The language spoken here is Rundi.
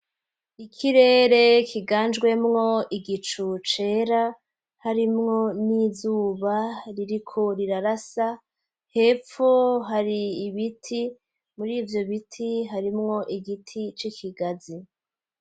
Ikirere kiganjwemwo igicu cera harimwo n'izuba ririko rirarasa hepfu hari ibiti muri ivyo biti harimwo igiti c'ikigazi.